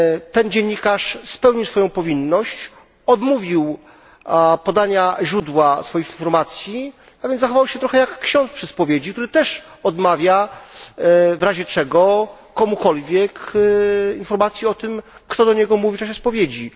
Ten dziennikarz spełnił swoją powinność, odmówił podania źródła swoich informacji, a więc zachował się trochę jak ksiądz przy spowiedzi, który też odmawia w razie czego komukolwiek informacji o tym, co kto do niego mówił w czasie spowiedzi.